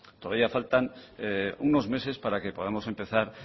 todavía faltan unos meses para que podamos empezar